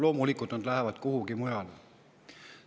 Loomulikult nad lähevad kuhugi mujale.